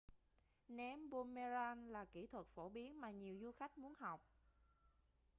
ném boomerang là kỹ năng phổ biến mà nhiều du khách muốn học